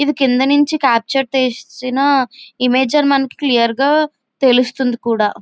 ఇది క్రింది నుంచి క్యాప్ట్యూర్ చేసిన ఇమేజ్ అని క్లియర్ గా తెలుసుతుంది కూడా --